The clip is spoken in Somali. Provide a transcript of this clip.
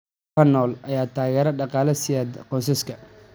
Xoolaha nool ayaa taageero dhaqaale siiya qoysaska.